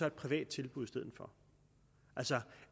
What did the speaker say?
et privat tilbud i stedet for altså